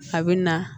A bɛ na